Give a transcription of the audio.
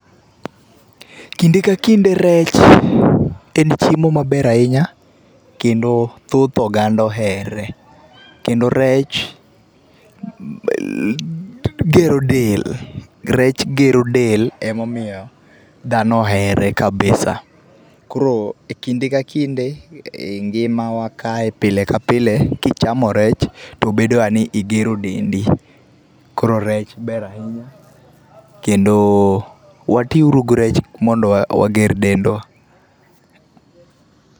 Kinde ka kinde rech en chiemo maber ahinya kendo thoth oganda oher, kendo rech gero del. Rech gero del emomiyo dhano ohere kabisa . Koro kinde ka kinde ngima wa kae pile ka pile kichamo rech to bedo ga ni igero dendi. Koro rech ber ahinya kendo watiuru gi rech mondo wager dendwa.